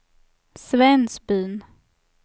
Svensbyn